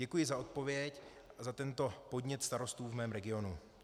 Děkuji za odpověď a za tento podnět starostů v mém regionu.